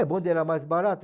o bonde era mais barato.